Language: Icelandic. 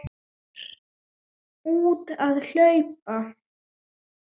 Fer út að hlaupa.